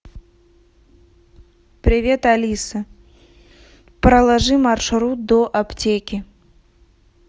привет алиса проложи маршрут до аптеки